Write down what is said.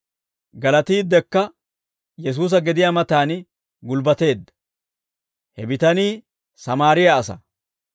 Galatiiddekka Yesuusa gediyaa matan gulbbateedda. He bitanii Sammaariyaa asaa.